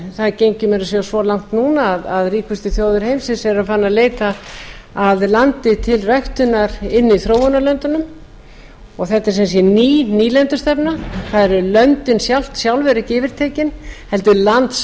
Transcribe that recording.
það gengi meira að segja svo langt núna að ríkustu þjóðir heimsins eru farnar að leita að landi til ræktunar inni í þróunarlöndunum og þetta er sem sé ný nýlendustefna það er löndin sjálf eru ekki yfirtekin heldur landsvæði keypt